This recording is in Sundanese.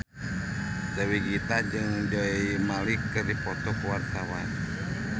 Dewi Gita jeung Zayn Malik keur dipoto ku wartawan